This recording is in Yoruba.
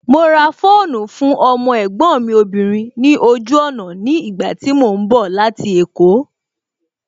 Mo ra fóònù fún ọmọ ẹ̀gbọ́n mi obìnrin ní ojú ọ̀nà ní ìgbà tí mo ń bọ̀ láti èkó